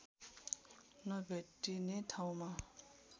नभेटिने ठाउँमा